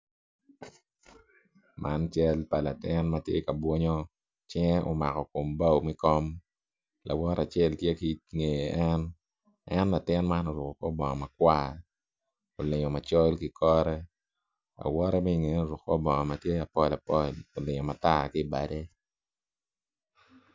Man cal pa latin matye ka bunyu cinge omako kom bao me kom lawote acel tye ki nge en, en latin man oruko kor bongo makwar olingo macol ki kore lawote me ingeye oruko kor bongo matye apol apol olingo matar ki bade